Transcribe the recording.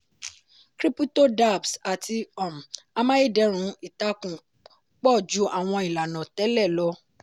krípútò dapps àti um amáyédẹrùn ìtàkùn pọ̀ ju àwọn ilànà tẹ́lẹ̀ lọ.